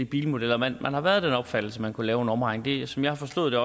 bilmodeller man har været af den opfattelse at man kunne lave en omregning som jeg har forstået